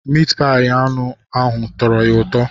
Mitpayi anụ ụnyahụ tọrọ ya ụtọ.